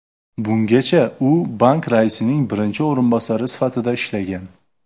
Bungacha u bank raisining birinchi o‘rinbosari sifatida ishlagan.